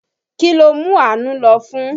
Kí ló mú Àánú lọ́fun?